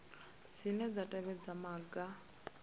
cbnrm dzine dza tevhedza maga